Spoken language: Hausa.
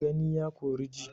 Gani ya Kori ji